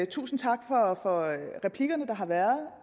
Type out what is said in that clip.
tusind tak for replikkerne der har været